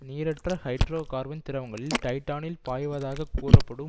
நீரற்ற hydrocarbon திரவங்களில் டைடானில் பாய்வதாகக் கூறப்படும்